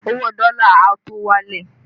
Owó dọ́lá a tó wálẹ̀